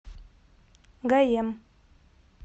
гаем